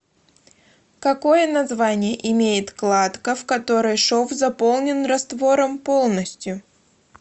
какое название имеет кладка в которой шов заполнен раствором полностью